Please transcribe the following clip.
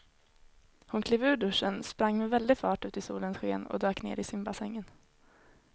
Hon klev ur duschen, sprang med väldig fart ut i solens sken och dök ner i simbassängen.